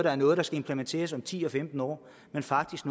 er noget der skal implementeres om ti eller femten år men faktisk